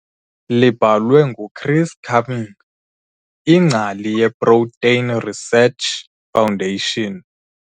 Libhalwe nguChris Cumming, iNgcali yeProtein Research Foundation.